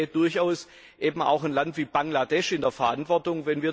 Ich sehe durchaus eben auch ein Land wie Bangladesch in der Verantwortung.